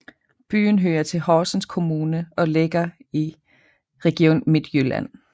Byen hører til Horsens Kommune og ligger i Region Midtjylland